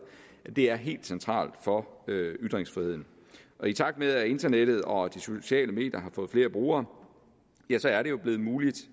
er helt centralt for ytringsfriheden i takt med at internettet og de sociale medier har fået flere brugere er det jo blevet muligt